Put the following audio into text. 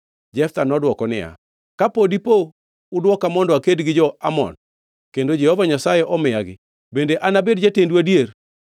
Jeftha nodwoko niya, “Ka dipo ni udwoka mondo aked gi jo-Amon kendo Jehova Nyasaye omiyagi; bende anabed jatendu adier?”